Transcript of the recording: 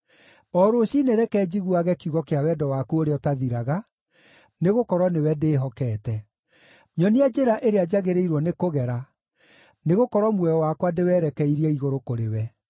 O rũciinĩ reke njiguage kiugo kĩa wendo waku ũrĩa ũtathiraga, nĩgũkorwo nĩwe ndĩĩhokete. Nyonia njĩra ĩrĩa njagĩrĩirwo nĩkũgera, nĩgũkorwo muoyo wakwa ndĩwerekeirie igũrũ kũrĩ we.